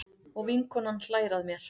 Og vinkonan hlær að mér.